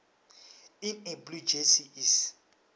in a blue jersey is